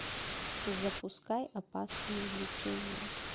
запускай опасные влечения